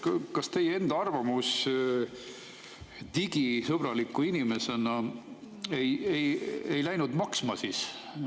Kas te ei pannud digisõbraliku inimesena enda arvamust maksma?